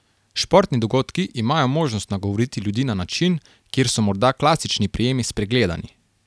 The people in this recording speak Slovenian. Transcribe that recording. Športni dogodki imajo možnost nagovoriti ljudi na način, kjer so morda klasični prijemi spregledani.